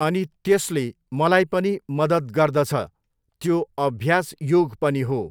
अनि त्यसले मलाई पनि मदद गर्दछ। त्यो अभ्यास योग पनि हो।